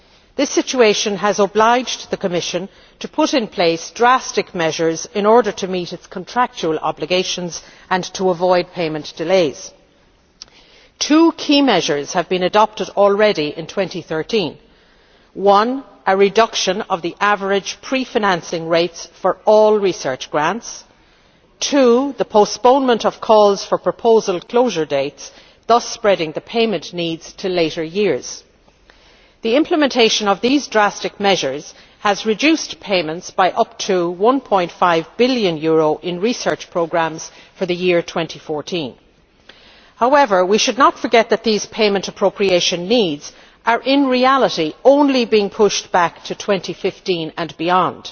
This situation has obliged the Commission to put in place drastic measures in order to meet its contractual obligations and to avoid payment delays. Two key measures have been adopted already in 2013 firstly a reduction of the average pre financing rates for all research grants and secondly the postponement of calls for proposal closure dates, thus spreading the payment needs to later years. The implementation of these drastic measures has reduced payments by up to EUR 1.5 billion in research programmes for the year 2014. We should not forget that these payment appropriation needs are, in reality, merely being pushed back to 2015 and beyond.